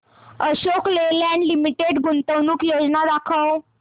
Ashok Leyland limited गुंतवणूक योजना दाखव